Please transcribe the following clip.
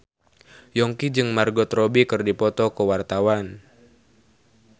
Yongki jeung Margot Robbie keur dipoto ku wartawan